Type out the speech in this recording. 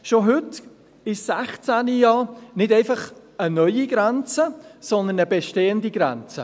Schon heute ist 16 keine neue Grenze, sondern eine bestehende Grenze.